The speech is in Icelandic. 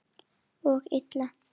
Og illa.